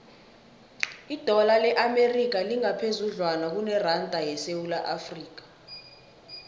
idola le amerika lingaphezudlwana kuneranda yesewula afrika